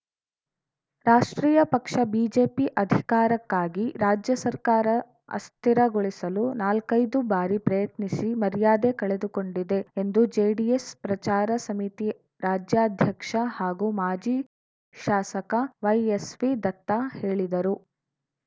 ರಾಷ್ಟ್ರೀಯ ಪಕ್ಷ ಬಿಜೆಪಿ ಅಧಿಕಾರಕ್ಕಾಗಿ ರಾಜ್ಯ ಸರ್ಕಾರ ಅಸ್ಥಿರಗೊಳಿಸಲು ನಾಲ್ಕೈದು ಬಾರಿ ಪ್ರಯತ್ನಿಸಿ ಮರ್ಯಾದೆ ಕಳೆದುಕೊಂಡಿದೆ ಎಂದು ಜೆಡಿಎಸ್‌ ಪ್ರಚಾರ ಸಮಿತಿ ರಾಜ್ಯಾಧ್ಯಕ್ಷ ಹಾಗೂ ಮಾಜಿ ಶಾಸಕ ವೈಎಸ್‌ವಿ ದತ್ತ ಹೇಳಿದರು